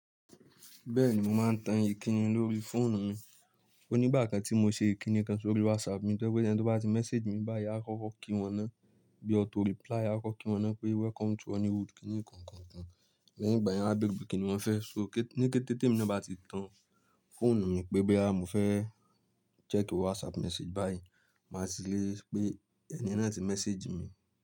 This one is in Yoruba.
Bẹ́ẹ̀ni, mo máa ń tan ìkíni lórí fóònù mi. Ó nígbà kan tí mo ṣe ìkíni kan sórí WhatsApp mi, tojẹ̀ pé ẹni tó bá ti message mi báyìí, a kọ́kọ́ kí wọn náà bí auto reply, a kọ́kọ́ kí wọn náà pé welcome to Honeywood, kíni kankan kan. Lẹ́yìn igbà yẹ̀n, a bere pe kíni wọ́n fẹ́. So ní kété ti emi ní bá ti tan fóònù mi pé boya mo fẹ́ check WhatsApp message báyìí, màá ti lèri pé ẹni yen náà ti message mi.